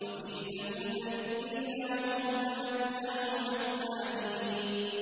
وَفِي ثَمُودَ إِذْ قِيلَ لَهُمْ تَمَتَّعُوا حَتَّىٰ حِينٍ